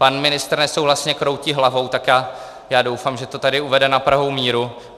Pan ministr nesouhlasně kroutí hlavou, tak já doufám, že to tady uvede na pravou míru.